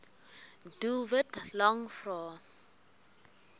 doelwit lang vrae